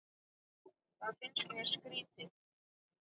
Það finnst mér skrýtið